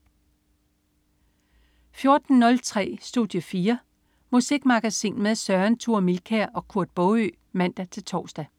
14.03 Studie 4. Musikmagasin med Søren Thure Milkær og Kurt Baagø (man-tors)